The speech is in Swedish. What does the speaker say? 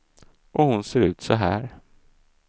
Och hon ser ut så här.